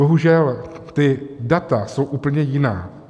Bohužel, ta data jsou úplně jiná.